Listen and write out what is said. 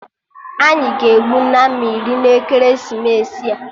Anyị ga-egbu Nama iri na ekeresimesi a